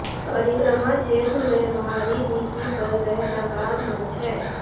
परिक्रमा क्षेत्र में बाहरी भित्ती पर वृहदाकार मंच है